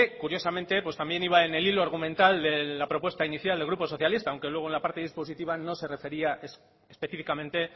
curiosamente pues también iba en el hilo argumental de la propuesta inicial del grupo socialista aunque luego en la parte dispositiva no se refería específicamente